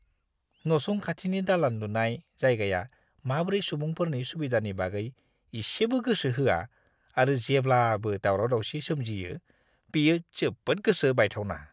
नसुं खाथिनि दालान लुनाय जायगाया माब्रै सुबुंफोरनि सुबिदानि बागै इसेबो गोसो होआ आरो जेब्लाबो दाउराव-दाउसि सोमजियो, बेयो जोबोद गोसो बायथावना!